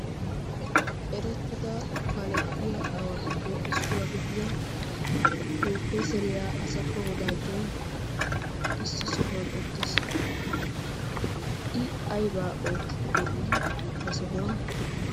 eretida kaaletiyaa aawatuppe issuwa gidiyaa propesseiya assappa Wodajoy ha sohuwaan uttiis. I aybba oottide de'i ha sohuwan?